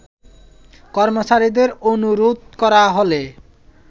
কর্মচারীদের অনুরোধ করা হলে